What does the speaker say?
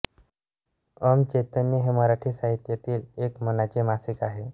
ॐ चैतन्य हे मराठी साहित्यातील एक मानाचे मासिक आहे